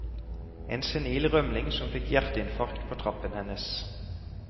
En senil rømling som fikk hjerteinfarkt på trappen hennes.